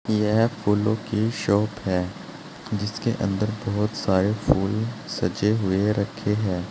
यह फूलों की शॉप है जिसके अंदर बहुत सारे फूल सजे हुए रखे हैं।